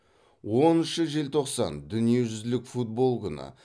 оныншы желтоқсан дүниежүзілік футбол күні